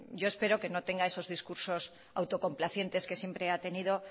yo espero que no tenga esos discursos autocomplacientes que siempre ha tenido